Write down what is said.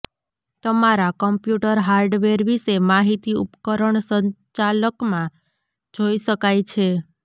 તમારા computer hardware વિશે માહિતી ઉપકરણ સંચાલકમાં જોઇ શકાય છે